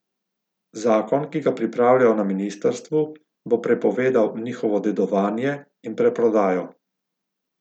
Zakon, ki ga pripravljajo na ministrstvu, bo prepovedal njihovo dedovanje in preprodajo.